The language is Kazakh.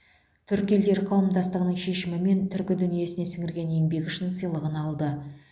түркі елдері қауымдастығының шешімімен түркі дүниесіне сіңірген еңбегі үшін сыйлығын алды